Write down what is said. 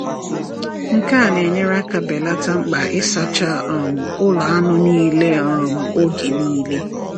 Nke a na-enyere aka belata mkpa ịsacha um ụlọ anụ niile um oge niile.